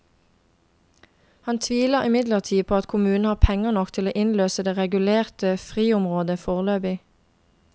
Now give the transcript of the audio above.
Han tviler imidlertid på at kommunen har penger nok til å innløse det regulerte friområdet foreløpig.